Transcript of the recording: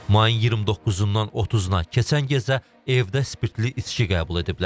Mayın 29-dan 30-na keçən gecə evdə spirtli içki qəbul ediblər.